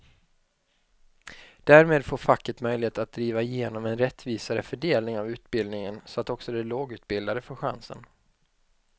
Därmed får facket möjlighet att driva igenom en rättvisare fördelning av utbildningen så att också de lågutbildade får chansen.